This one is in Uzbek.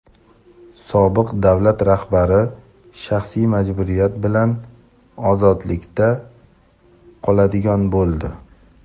Sobiq davlat rahbari shaxsiy majburiyat bilan ozodlikda qoladigan bo‘ldi.